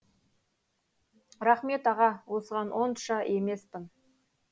рақмет аға осыған онша емеспін